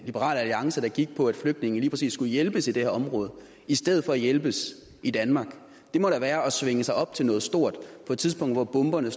liberal alliance der gik på at flygtningene lige præcis skulle hjælpes i det her område i stedet for at hjælpes i danmark det må da være at svinge sig op til noget stort på et tidspunkt hvor bomberne